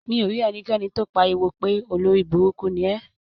Mi ò rí ẹnikẹ́ni tó pariwo pé "olórí burúkú ni ẹ".